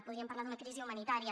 podríem parlar d’una crisi humanitària